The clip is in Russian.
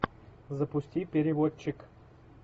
запусти переводчик